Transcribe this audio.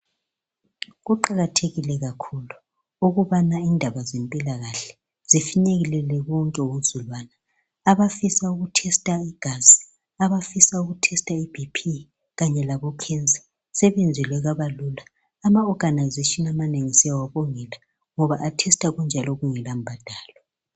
Kuqakathekile kakhulu ukubana indaba zempilakahle zifinyelele bonke abantu . Abafisa ukutesta igazi, abafisa ukuthesta i BP, kanye labo cancer, sebenzelwe kwabalula. Ama organisation amanengi siyawabongela, ngoba athesta kunjalo kungela mbhadalo.